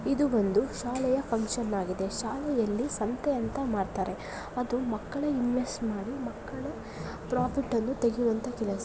ಇದು ಬಂದು ಶಾಲೆಯ ಫಂಕ್ಷನ್ ಆಗಿದೆ ಶಾಲೆಯಲ್ಲಿ ಸಂತೆ ಅಂತ ಮಾಡ್ತಾರೆ ಅದು ಮಕ್ಕಳೇ ಇನ್ವೆಸ್ಟ್ ಮಾಡಿ ಮಕ್ಕಳೇ ಪ್ರಾಫಿಟ್ ಅನ್ನು ತೆಗೆಯುವಂತಹ ಕೆಲಸ --